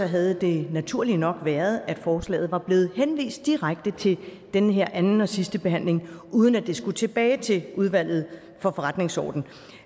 havde det naturlige nok været at forslaget var blevet henvist direkte til den her anden og sidstebehandling uden at det skulle tilbage til udvalget for forretningsordenen